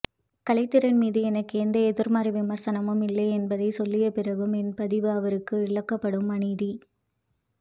கலைத்திறன்மீது எனக்கு எந்த எதிர்மறை விமர்சனமும் இல்லை என்பதைச்சொல்லியபிறகும் என்பதிவு அவருக்கு இழைக்கப்படும் அநீதி